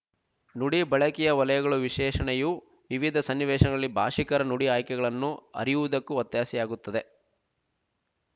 ನುಡಿ ಬಳಕೆಯ ವಲಯಗಳು ವಿಶೇಷಣೆಯು ವಿವಿಧ ಸನ್ನಿವೇಶಗಳಲ್ಲಿ ಭಾಶಿಕರ ನುಡಿ ಆಯ್ಕೆಗಳನ್ನು ಅರಿಯುವುದಕ್ಕೂ ಒತ್ತಾಸೆಯಾಗುತ್ತದೆ